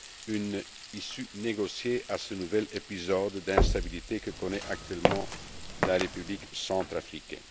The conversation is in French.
une issue négociée à ce nouvel épisode d'instabilité que connaît actuellement la République centrafricaine.